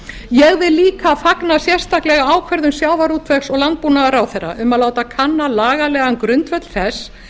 ég vil líka fagna sérstaklega ákvörðun sjávarútvegs og landbúnaðarráðherra um að láta kanna lagalegan grundvöll þess